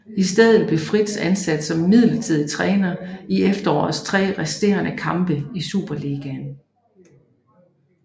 I stedet blev Friis ansat som midlertidig træner i efterårets tre resterende kampe i Superligaen